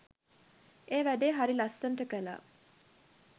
ඒ වැඩේ හරි ලස්සනට කළා.